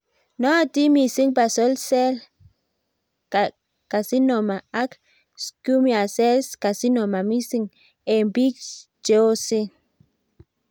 Nootin mising basal cell carcinoma ak squamous cell carcinoma mising' eng' biik cheosen